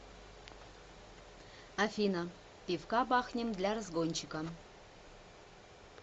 афина пивка бахнем для разгончика